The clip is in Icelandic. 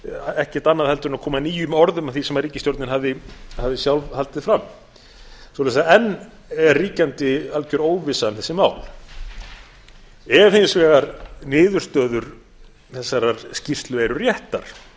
ekkert annað en að koma nýjum orðum að því sem ríkisstjórnin hafði sjálf haldið fram enn er ríkjandi algjör óvissa um þessi mál ef hins vegar niðurstöður þessarar skýrslu eru réttar